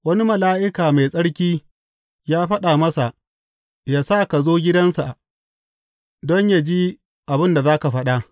Wani mala’ika mai tsarki ya faɗa masa, yă sa ka zo gidansa don yă ji abin da za ka faɗa.